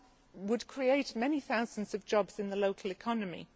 It would also create many thousands of jobs in the local economy.